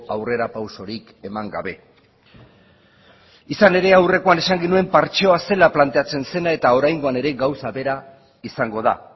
aurrerapausorik eman gabe izan ere aurrekoan esan genuen partzeoa zela planteatzen zena eta oraingoan ere gauza bera izango da